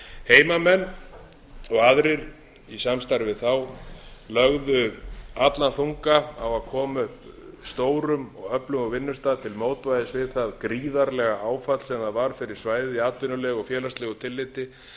heimamenn og aðrir í samstarfi við þá lögðu allan þunga á að koma upp stórum og öflugum vinnustað til mótvægis við það gríðarlega áðan l á það var fyrir svæðið í atvinnulegu og félagslegu tilliti